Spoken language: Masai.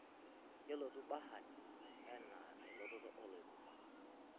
kelotu bahati enaa elototo oloikuma